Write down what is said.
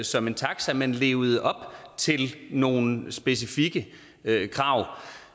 som en taxa men levede op til nogle specifikke krav